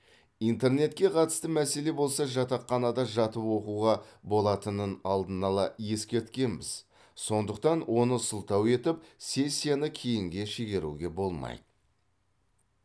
интернетке қатысты мәселе болса жатақханада жатып оқуға болатынын алдын ала ескерткенбіз сондықтан оны сылтау етіп сессияны кейінге шегеруге болмайды